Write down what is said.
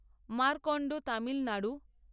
Markande Tamil Nadu